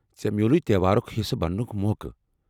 ژے٘ مِیٚوٗلُے تہوارُک حصہٕ بنٛنُک موقعہٕ؟